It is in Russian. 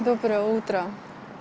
доброе утро